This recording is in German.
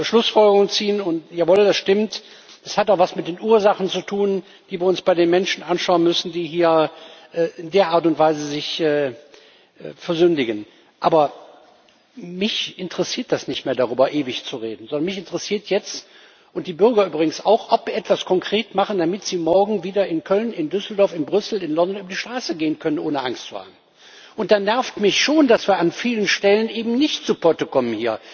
Wir dürfen keine kurzsichtigen Schlussfolgerungen ziehen und jawohl das stimmt es hat auch was mit den Ursachen zu tun, die wir uns bei den Menschen anschauen müssen, die hier in der Art und Weise sich versündigen. Aber mich interessiert das nicht mehr, darüber ewig zu reden. Sondern mich interessiert jetzt und die Bürger übrigens auch ob wir etwas konkret machen, damit sie morgen wieder in Köln, in Düsseldorf, in Brüssel oder in London über die Straße gehen können, ohne Angst zu haben. Dann nervt mich schon, dass wir an vielen Stellen eben nicht zu Potte kommen.